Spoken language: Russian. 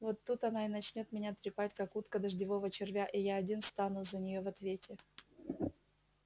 вот тут она и начнёт меня трепать как утка дождевого червя и я один стану за неё в ответе